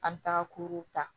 An bɛ taga kuru ta